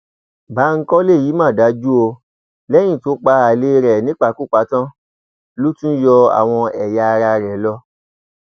báńkólé yìí mà dájú o lẹyìn tó pa alẹ rẹ nípakúpa tán ló tún yọ àwọn ẹyà ara rẹ lọ